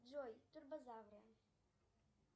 джой турбозавры